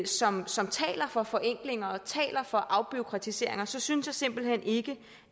som som taler for forenklinger og taler for afbureaukratiseringer så synes jeg simpelt hen ikke